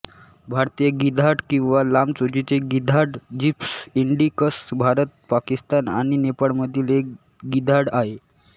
भारतीय गिधाड किंवा लांब चोचीचे गिधाड जिप्स इंडिकस भारत पाकिस्तान आणि नेपाळमधील एक गिधाड आहे